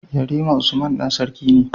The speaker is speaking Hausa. Yarima usman Dan sarki ne